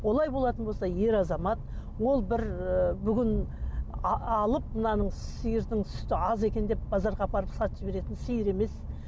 олай болатын болса ер азамат ол бір ыыы бүгін алып мынаның сиырдың сүті аз екен деп базарға апарып сатып жіберетін сиыр емес